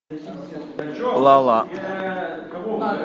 ла ла